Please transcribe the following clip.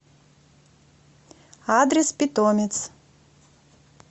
адрес питомец